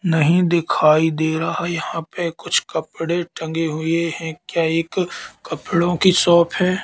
नहीं दिखाई दे रहा यहां पे कुछ कपड़े टंगे हुई है क्या एक कपड़ों की शॉप है।